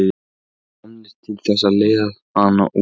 Þeir voru komnir til þess að leiða hann út.